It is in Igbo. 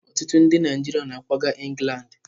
Ọtụtụ ndị Naijiria na akwaga Ingland.